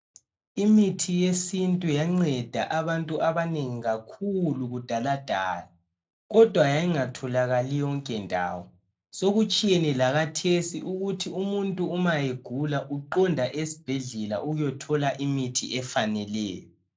Imitthi yesintu yanceda abantu abanengi kakhulu kudaladala kodwa yayingatholakali yonke ndawo sokutshiyene lakhathesi ukuthi umuntu ma egula uya esibhedlela ethile imithi efaneleyo.